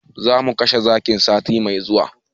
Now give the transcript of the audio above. Zamu kashe zakin sati mai zuwa